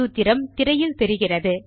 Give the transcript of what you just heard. சூத்திரம் திரையில் தெரிகிறது